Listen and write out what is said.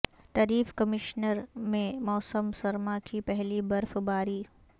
طریف کمشنری میں موسم سرما کی پہلی برف باری